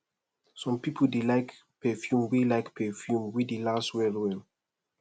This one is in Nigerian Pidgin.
some pipo dey like perfume wey like perfume wey dey last well well